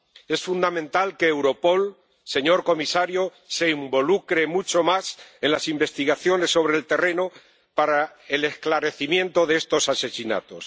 Es fundamental que Europol, señor comisario, se involucre mucho más en las investigaciones sobre el terreno para el esclarecimiento de estos asesinatos.